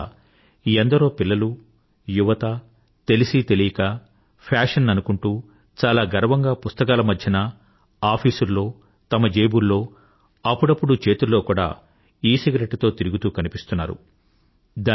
అందువల్ల ఎందరో పిల్లలు యువత తెలిసీ తెలియక ఫ్యాషన్ అనుకుంటూ చాలా గర్వంగా పుస్తకాల మధ్యన ఆఫీసుల్లో తమ జేబుల్లో అప్పుడప్పుడూ చేతుల్లో కూడా ఈసిగరెట్టు తో తిరుగుతూ కనిపిస్తున్నారు